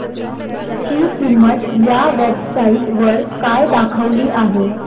ची किंमत या वेब साइट वर काय दाखवली आहे